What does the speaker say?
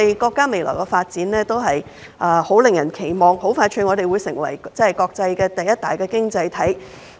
國家未來的發展是很令人期望的，我們很快便會成為國際第一大經濟體。